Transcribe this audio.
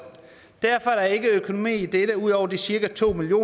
derfor er der ikke økonomi i dette ud over de cirka to million